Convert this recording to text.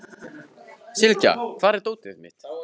Sylgja, hvar er dótið mitt?